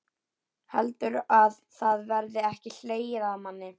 Heldurðu að það verði ekki hlegið að manni?